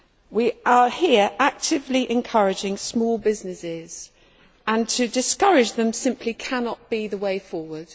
We are here actively encouraging small businesses, and to discourage them simply cannot be the way forward.